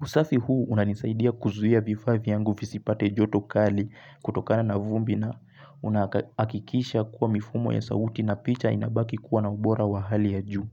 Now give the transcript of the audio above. Usafi huu unanisaidia kuzuia vifaa vyangu visipate joto kali kutokana na vumbi na unahakikisha kuwa mifumo ya sauti na picha inabaki kuwa na ubora wa hali ya juu.